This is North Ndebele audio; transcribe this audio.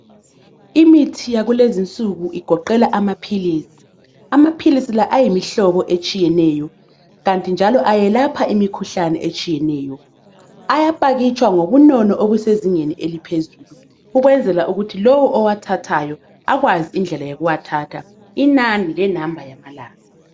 Imithi yakulezi insuku igoqela ama philisi, amaphilisi la ayimihlobo etshiyeneyo ,kanti njalo ayelapha imikhuhlane etshiyeneyo ,ayapakitshwa ngobunono obuse zingeni eliphezulu ukwenzela ukthi lowo owathathayo akwazi indlela yo kuwathatha inani le number yamalanga